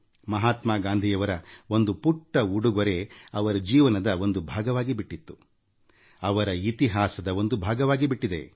ಮಹಾತ್ಮ ಗಾಂಧಿಯವರ ಒಂದು ಪುಟ್ಟ ಉಡುಗೊರೆ ಅವರ ಜೀವನದ ಒಂದು ಭಾಗವಾಗಿಬಿಟ್ಟಿತ್ತು ಅವರ ಇತಿಹಾಸದ ಒಂದು ಭಾಗವಾಗಿಬಿಟ್ಟಿದೆ